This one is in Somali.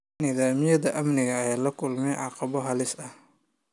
Nidaamyada amniga ayaa la kulmay caqabado halis ah.